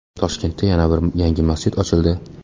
Toshkentda yana bir yangi masjid ochildi .